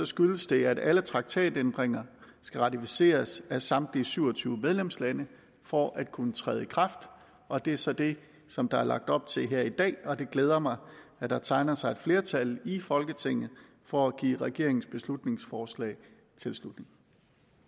skyldes det at alle traktatændringer skal ratificeres af samtlige syv og tyve medlemslande for at kunne træde i kraft og det er så det som der er lagt op til her i dag og det glæder mig at der tegner sig et flertal i folketinget for at give regeringens beslutningsforslag tilslutning